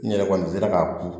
N yɛrɛ kɔni sera k'a ko